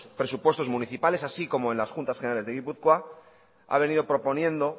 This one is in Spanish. presupuestos municipales así como en las juntas generales de guipúzcoa ha venido proponiendo